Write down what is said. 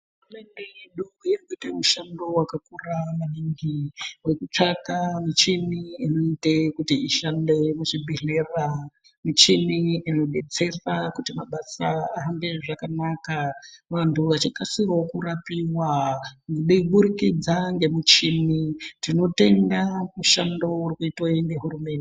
Hurumende yedu irikuita mushando wakakura maningi wekutsvaka michini inoite kuti ishande muzvibhehleya ,michini inodetsera kuti mabasa ahambe zvakanaka vanhu vachikasirawo kurapiwa kuburikidza ngemichini, tinotenda mushando irikuitwa ngehurumende.